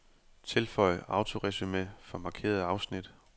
Tilføj autoresumé for markerede afsnit.